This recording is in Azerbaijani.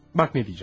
Bax nə deyəcəm.